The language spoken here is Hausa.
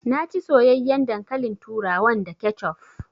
Na ci soyayyaen dankalin turawan da kecuf